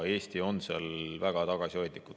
Eesti on seal väga tagasihoidlikult.